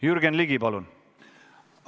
Jürgen Ligi, palun!